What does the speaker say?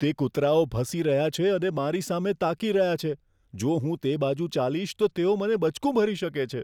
તે કૂતરાઓ ભસી રહ્યા છે અને મારી સામે તાકી રહ્યા છે. જો હું તે બાજુ ચાલીશ તો તેઓ મને બચકું ભરી શકે છે.